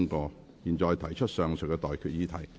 我現在向各位提出上述待決議題。